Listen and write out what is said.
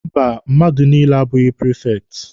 Mba, mmadụ niile abụghị prifekti.